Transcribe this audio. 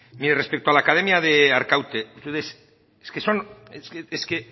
mire respecto a la academia de arkaute es que